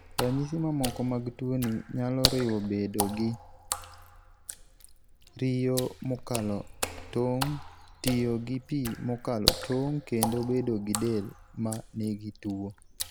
Ranyisi mamoko mag tuoni nyalo riwo bedo gi riyo mokalo tong', tiyo gi pi mokalo tong', kendo bedo gi del ma nigi tuwo.